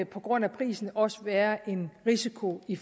på grund af prisen også være en risiko i